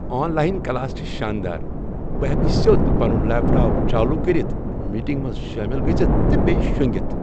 On line class چھ شاندار۔ بہٕ ہیٚکہٕ سیو٘د پنُن لیپ ٹاپ چالو کٔرتھ ، میٹنگہِ منٛز شٲمل گژھتھ تہٕ بییہ شونگِتھ ۔